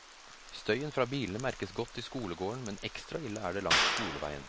Støyen fra bilene merkes godt i skolegården, men ekstra ille er det langs skoleveien.